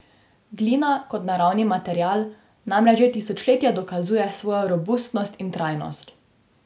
Glina kot naravni material namreč že tisočletja dokazuje svojo robustnost in trajnost.